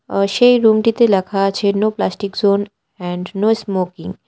আর সেই রুমটিতে লেখা আছে no plastic zone and no smoking.